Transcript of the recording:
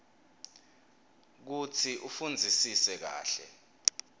kutsi ufundzisise kahle